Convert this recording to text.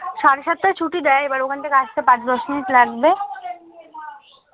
সাড়ে সাতটা ছুটি দেয় তার পর ওখান থেকে আসতে পাঁচ দশ মিনিট লাগবে